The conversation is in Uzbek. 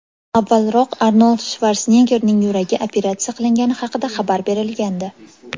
Avvalroq Arnold Shvarseneggerning yuragi operatsiya qilingani haqida xabar berilgandi .